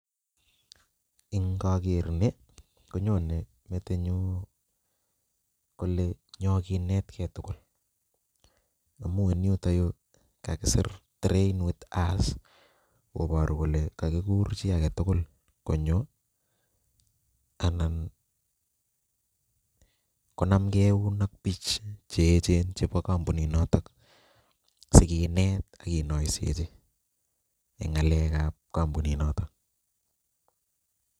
Ing'oker nii konyone metinyun kolee nyoo kinetke tukul amun yuto yuu kakisir train with us koboru kole kokikur chii aketukul konyo anan konamke ak biik cheechen chebo kompuninotok sikinet ak kinoisechi en ng'alekab kombuni notok.